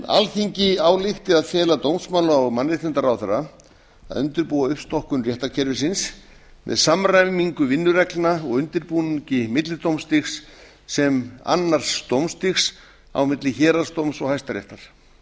alþingi álykti að fela dómsmála og mannréttindaráðherra að undirbúa uppstokkun réttarkerfisins með samræmingu vinnureglna og undirbúningi millidómstig sem annars dómstigs á milli héraðsdóms og hæstaréttar